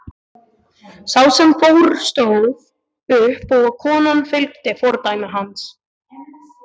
Sá sem fór stóð upp og konan fylgdi fordæmi hans.